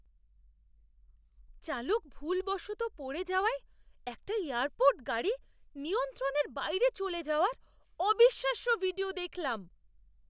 চালক ভুলবশত পড়ে যাওযায় একটা এয়ারপোর্ট গাড়ি নিয়ন্ত্রণের বাইরে চলে যাওয়ার অবিশ্বাস্য ভিডিও দেখলাম!